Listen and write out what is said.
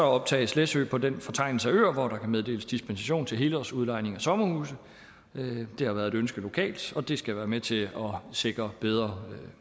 optages læsø på den fortegnelse af øer hvor der kan meddeles dispensation til helårsudlejning af sommerhuse det har været et ønske lokalt og det skal være med til at sikre bedre